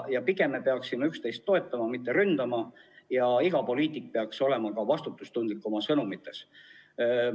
Pigem peaksime üksteist toetama, mitte ründama, ja iga poliitik peaks olema oma sõnumites vastutustundlik.